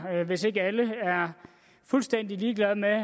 hvis ikke alle er fuldstændig ligeglade med